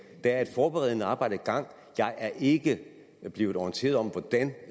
der er et forberedende arbejde i gang jeg er ikke blevet orienteret om hvordan